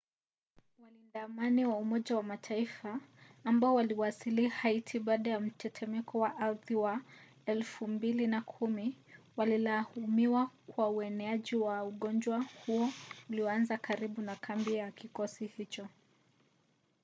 walinda amani wa umoja wa mataifa ambao waliwasili haiti baada ya mtetemeko wa ardhi wa 2010 wanalaumiwa kwa ueneaji wa ugonjwa huo ulioanza karibu na kambi ya kikosi hicho